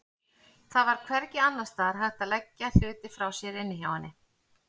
Það var hvergi annars staðar hægt að leggja hluti frá sér inni hjá henni.